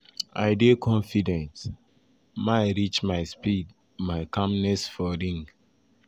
"i dey confident - um my reach my speed my um calmness for ring.